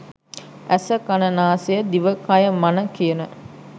ඇස කණ නාසය දිව කය මන කියන